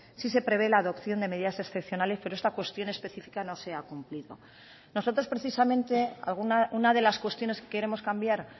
sí se prevé la adopción de medidas excepcionales pero esta cuestión especifica no se ha cumplido nosotros precisamente una de las cuestiones que queremos cambiar